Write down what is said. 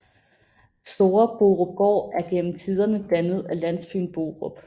Store Borupgård er gennem tiderne dannet af landsbyen Borup